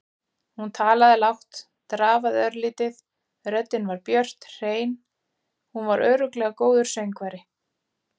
Hún talaði lágt, drafaði örlítið, röddin var björt, hrein- hún var örugglega góður söngvari.